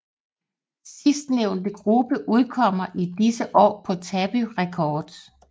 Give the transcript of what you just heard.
Sidstnævnte gruppe udkommer i disse år på Tabu Records